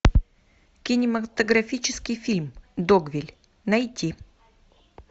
кинематографический фильм догвилль найти